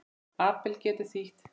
Abel getur þýtt